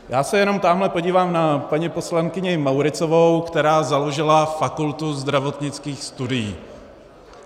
Já se jenom tamhle podívám na paní poslankyni Mauritzovou, která založila Fakultu zdravotnických studií.